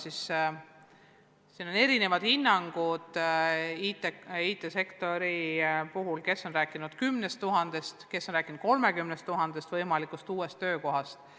IT-sektori puhul on erinevad hinnangud: kes on rääkinud 10 000-st, kes on rääkinud 30 000-st võimalikust uuest töökohast.